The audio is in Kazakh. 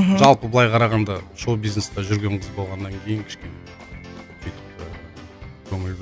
мхм жалпы былай қарағанда шоу бизнесте жүрген қыз болғаннан кейін кішкене бүйтіп ііі көңіл